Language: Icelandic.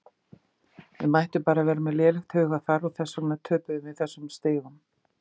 Við mættum bara með lélegt hugarfar og þess vegna töpuðum við þessum stigum.